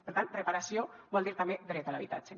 per tant reparació vol dir també dret a l’habitatge